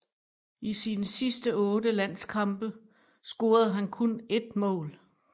I sine sidste otte landskampe scorede han kun ét mål